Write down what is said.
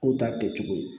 K'u ta kɛ cogo ye